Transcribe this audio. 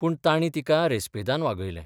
पूण तांणी तिका रेस्पेदान वागयलें.